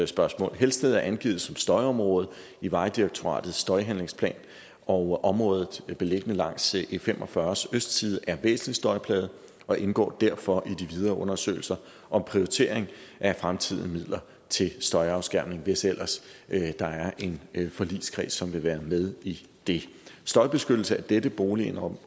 spørgsmål helsted er angivet som støjområde i vejdirektoratets støjhandlingsplan og området beliggende langs e45s østside er væsentlig støjplaget og indgår derfor i de videre undersøgelser om prioritering af fremtidige midler til støjafskærmning hvis ellers der er en forligskreds som vil være med i det støjbeskyttelse af dette boligområde